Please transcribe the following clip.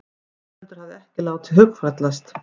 Ingveldur hafði ekki látið hugfallast.